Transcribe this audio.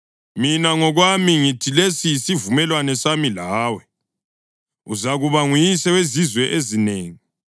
“Mina ngokwami ngithi lesi yisivumelwano sami lawe: uzakuba nguyise wezizwe ezinengi.